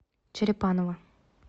черепаново